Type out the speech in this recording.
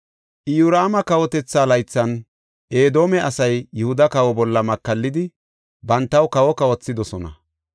Iyoraama kawotetha laythan, Edoome asay Yihuda kawa bolla makallidi bantaw kawo kawothidosona.